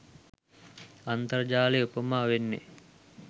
අන්තර්ජාලය උපමා වෙන්නේ